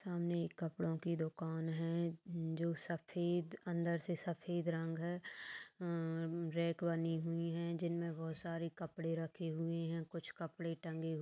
सामने कपड़ों की दुकान है जो सफेद अंदर से सफेद रंग हैं उम्म रैक बनी हुई है जिनमें बहुत सारे कपड़े रखे हुए हैं कुछ कपड़े टँगे हुए--